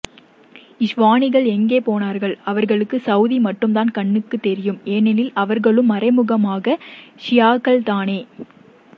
இஹ்வானிகள் எங்கே போனார்கள் அவர்களுக்கு சவூதி மட்டும்தான் கண்ணுக்கு தெரியும் ஏனெனில் அவர்களும் மறைமுகமாக ஷியாக்கள் தானே